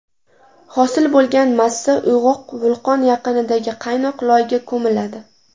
Hosil bo‘lgan massa uyg‘oq vulqon yaqinidagi qaynoq loyga ko‘miladi.